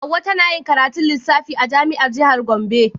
Hauwa tana karatun lissafi a jami'ar jihar Gombe.